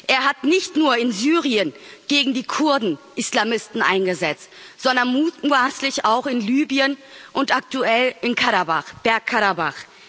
Er hat nicht nur in Syrien gegen die Kurden Islamisten eingesetzt, sondern mutmaßlich auch in Libyen und aktuell in Bergkarabach.